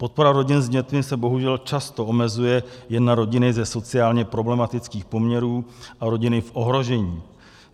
Podpora rodin s dětmi se bohužel často omezuje jen na rodiny ze sociálně problematických poměrů a rodiny v ohrožení.